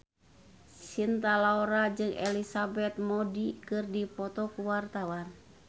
Cinta Laura jeung Elizabeth Moody keur dipoto ku wartawan